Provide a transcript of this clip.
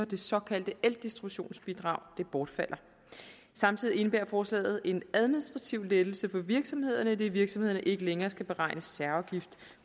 det såkaldte eldistributionsbidrag bortfalder samtidig indebærer forslaget en administrativ lettelse for virksomhederne idet virksomhederne ikke længere skal beregne særafgift